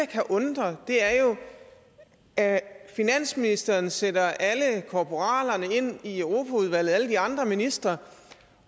kan undre er jo at finansministeren sætter alle korporalerne ind i europaudvalget alle de andre ministre